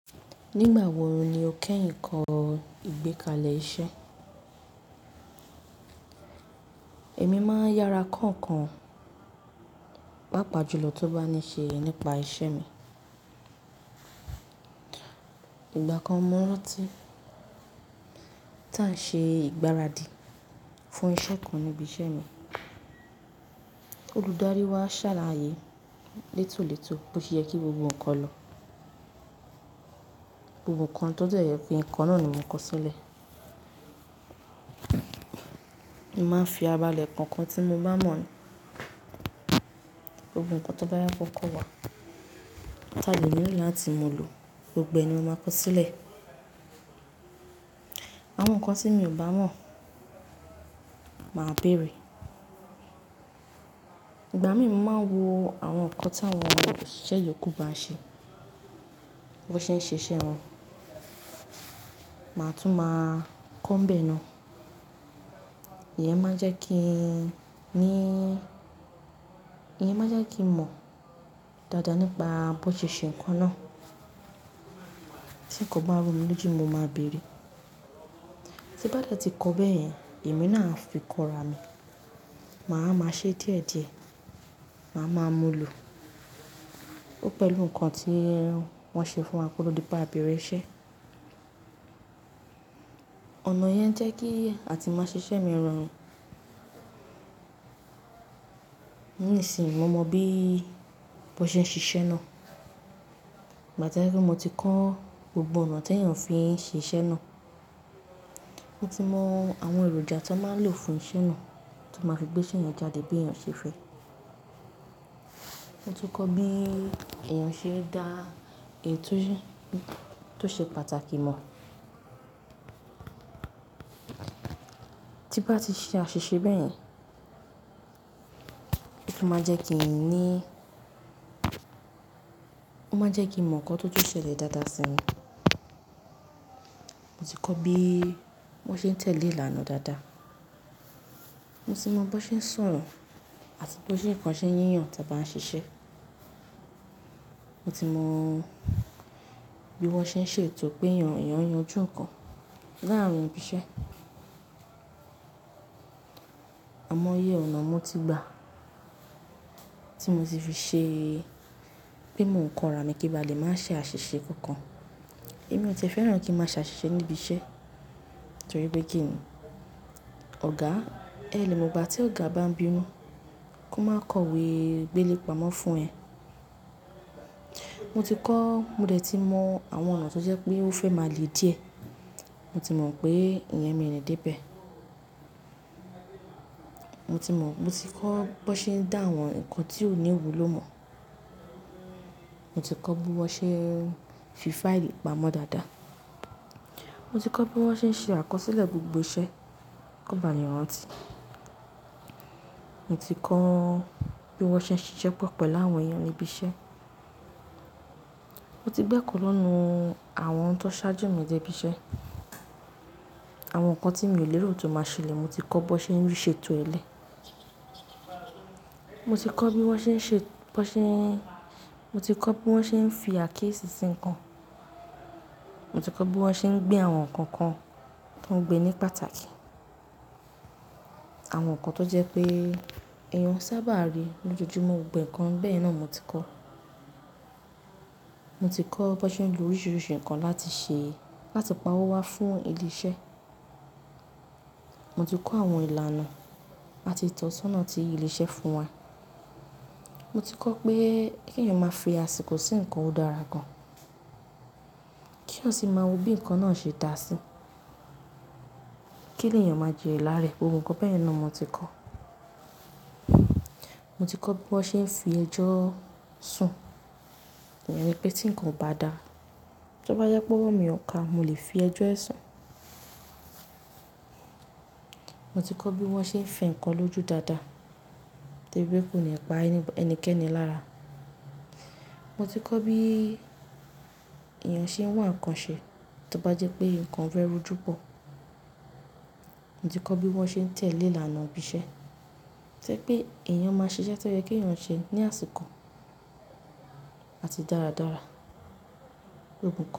Nígbà wo ni o kẹ́yìn kọ ìgbékalẹ̀ iṣẹ́? Èmi máa ń yára kọ́nkọ̀n pa pàjùlọ tó bá ní ṣe nípa ìṣe mi. Ìgbà kan mọ́ rántí tí a ṣe ìgbáradì fún iṣẹ́ kan níbi iṣẹ́ mi, olùdarí wa ṣàlàyé létólètó bó ṣe yẹ kí gbogbo ǹkan lọ, gbogbo ǹkan tó dẹ̀ yẹ kí n kọ náà ni mo kọ sílẹ̀. Mo máa ń fi abala ǹkan kan tí mo bá mọ̀ ní, gbogbo ǹkan tó bá yá kọ́kọ́ wá, tàbí inú ìyẹ́ láti mú u lò, gbogbo ẹ̀ ni mo máa kọ sílẹ̀. Àwọn ǹkan tí mi ò bá mọ̀ máa bèèrè. Ìgbà mí mo máa ń wo àwọn ǹkan táwọn òṣìṣẹ́ yòókù bá ń ṣe, bí wọ́n ṣe ń ṣe iṣẹ́ wọn. Màá tún máa kọ́nbẹ̀ ẹ́ náà. Ìyẹn máa jẹ́ kí i ní, ìyẹn máa jẹ́ kí n mọ̀ dáadáa nípa bó ń ṣe ń ṣe ǹkan náà. Tí ǹkan bá rú mi lójú, mo máa bèèrè. Tí bá dẹ̀ ti kọ bẹ́ẹ̀ yẹn, èmi náà ń fi kọ́ra mi, màá máa ṣe díẹ̀díẹ̀, màá máa mú lò. Ó pẹ̀lú ǹkan tí wọ́n ṣe fún wa kó tó di pé a bẹ̀rẹ̀ iṣẹ́. Ọ̀nà yẹn jẹ́ kí àti máa ṣe iṣẹ́ mi rọrùn. Nísìínyi mo mọ bí wọ́n ṣe ń ṣe iṣẹ́ náà. Ìgbà tí jẹ́ pé mo ti kọ́ gbogbo ọ̀nà tí èèyàn fi ṣe iṣẹ́ náà. Mo ti mọ àwọn èròjà tí o n máa ń lò fún iṣẹ́ náà tó máa fi gbé iṣẹ́ yẹn jáde bí èèyàn ṣe fẹ́. Mo tu kọ́ bí èèyàn ṣe dá ètò tí ó ṣe pàtàkì mọ̀. Tí bá ti ṣe àṣìṣe bẹ́ẹ̀ yẹn, ó máa jẹ́ kí i ní, ó máa jẹ́ kí n mọ̀ ǹkan tó tó ṣẹlẹ̀ dáadáa sẹ́yìn. Mo ti kọ́ bí wọ́n ṣe ń tẹ̀lé ìlànà dáadáa. Mo ti mọ bí wọ́n ṣe ń sọ̀rọ̀ àti bí ó ṣe ń kàn ṣe yíyan tí a bá ń ṣiṣẹ́. Mo ti mọ bí wọ́n ṣe ń ṣe ètò pé èèyàn èèyàn yanjú ǹkan. Láàrin ibi iṣẹ́. Àmọ́ iye ọ̀nà mo ti gbà tí mo ti fi ṣe pé mò ń kọ́ra mi kí n máa lè máa ṣe àṣìṣe kankan. Èmi ò tí ẹ̀ fẹ́ràn kí n máa ṣe àṣìṣe níbi iṣẹ́ torí pé kí ni? Ọ̀gá, ẹ́ lè mo gba tí ọ̀gá bá ń bínú kí ó máa kọ ìwé gbélé pamọ́ fún ẹ. Mo ti kọ́, mo dẹ̀ ti mọ àwọn ọ̀nà tó jẹ́ pé ó fẹ́ máa le díẹ̀. Mo ti mọ̀ pé ìyẹn mi ò ní dé bẹ̀. Mo ti mọ̀, mo ti kọ́ bí wọ́n ṣe ń dá àwọn ǹkan tí ò ní ìwúlò mọ̀. Mo ti kọ́ bí wọ́n ṣe ń fi fáìlì pamọ́ dáadáa. Mo ti kọ́ bí wọ́n ṣe ń ṣe àkọsílẹ̀ gbogbo iṣẹ́ kọ́ba lè rántí. Mo ti kọ́ bí wọ́n ṣe ń ṣe iṣẹ́ pọ̀ pọ̀ láwọn èèyàn níbi iṣẹ́. Mo ti gbẹ́kù lọ́nà àwọn ohun tó ṣáájú mi dé ibi iṣẹ́. Àwọn ǹkan tí mi ò lérò tó máa ṣẹlẹ̀, mo ti kọ́ bí o n ṣe ń ri ṣe ètò ẹlẹ́. Mo ti kọ́ bí wọ́n ṣe ń ṣe, bí wọn ṣe, mo ti kọ́ bí wọ́n ṣe ń fi àáké ṣinṣin ǹkan. Mo ti kọ́ bí wọ́n ṣe ń gbé àwọn ǹkan kan tó ń gbé ní pàtàkì. Àwọn ǹkan tó jẹ́ pé èèyàn sábà rí lójoojúmọ́ gbogbo ǹkan bẹ́ẹ̀ náà mo ti kọ́. Mo ti kọ́ bí wọ́n ṣe ń lo oríṣiríṣi ǹkan láti ṣe, láti pa owó wá fún ilé iṣẹ́. Mo ti kọ́ àwọn ìlànà àti ìtọ́sọ́nà ti ilé iṣẹ́ fún wa. Mo ti kọ́ pé kí èèyàn máa fi àsìkò sí ǹkan ó dára gan. Kí yan sì máa wo bí ǹkan náà ṣe dá sí. Kí lèyàn máa jẹ ìlá rẹ̀, gbogbo ǹkan bẹ́ẹ̀ náà mo ti kọ́. Mo ti kọ́ bí wọ́n ṣe ń fi ẹjọ́ sùn. Ìyẹn ni pé tí ǹkan ò bá dá, tí ó bá jẹ́ pé wọ́n mi ò ká, mo lè fi ẹjọ́ ẹ sùn. Mo ti kọ́ bí wọ́n ṣe ń fi ǹkan lójú dáadáa tó rí pé kò ní pa ẹnikẹ́ni lára. Mo ti kọ́ bí èèyàn ṣe ń wá ǹkan ṣe tí ó bá jẹ́ pé ǹkan fẹ́ rú júbọ. Mo ti kọ́ bí wọ́n ṣe ń tẹ̀lé ìlànà ibi iṣẹ́. Tẹ́ pé èèyàn máa ṣiṣẹ́ tó yẹ kí èèyàn ṣe ní àsìkò àti dáradára gbogbo.